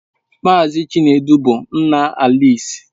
Mazị Chinedu bụ nna Alisi.